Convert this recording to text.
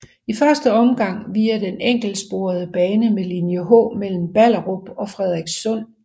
I første omgang via den enkeltsporede bane med linje H mellem Ballerup og Frederikssund